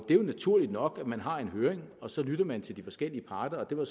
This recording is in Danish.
er jo naturligt nok at man har en høring og så lytter man til de forskellige parter og det var